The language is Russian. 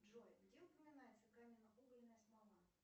джой где упоминается каменноугольная смола